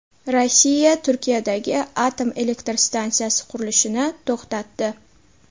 Rossiya Turkiyadagi atom elektr stansiyasi qurilishini to‘xtatdi.